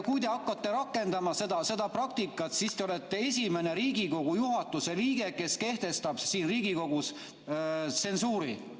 Kui te hakkate rakendama seda praktikat, siis te olete esimene Riigikogu juhatuse liige, kes kehtestab Riigikogus tsensuuri.